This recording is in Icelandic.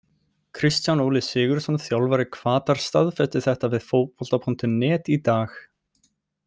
Kristján Óli SIgurðsson þjálfari Hvatar staðfesti þetta við Fótbolta.net í dag.